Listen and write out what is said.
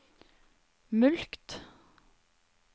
mulkt